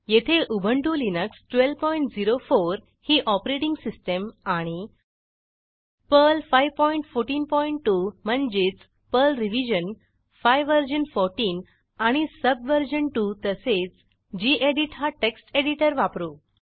येथे उबंटु लिनक्स1204 ही ऑपरेटिंग सिस्टीम आणि पर्ल5142 म्हणजेच पर्ल रिव्हीजन 5 वर्जन 14 आणि सबवर्जन 2 तसेच गेडीत हा टेक्स्ट एडिटर वापरू